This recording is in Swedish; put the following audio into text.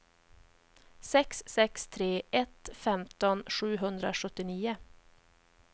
sex sex tre ett femton sjuhundrasjuttionio